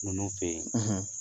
Ninnu fɛ yen;